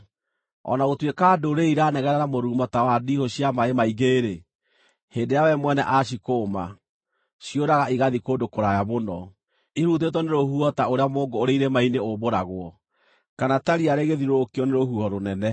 O na gũtuĩka ndũrĩrĩ iranegena na mũrurumo ta wa ndiihũ cia maaĩ maingĩ-rĩ, hĩndĩ ĩrĩa we mwene aacikũũma, ciũraga igathiĩ kũndũ kũraya mũno, ihurutĩtwo nĩ rũhuho ta ũrĩa mũũngũ ũrĩ irĩma-inĩ ũmbũragwo, kana ta riya rĩgĩthiũrũrũkio nĩ rũhuho rũnene.